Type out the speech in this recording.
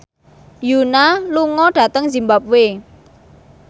Yoona lunga dhateng zimbabwe